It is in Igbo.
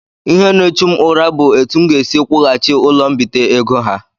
Ihe n'echu m ụra bụ etụ m ga-esi kwughachi ụlọ mbite ego ha.